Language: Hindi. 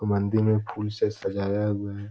ऊ मंदिर में फूल से सजाया हुआ है।